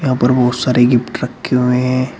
यहां पर बहुत सारे गिफ्ट रखे हुए हैं।